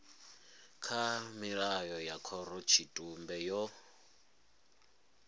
kha mirao ya khorotshitumbe yo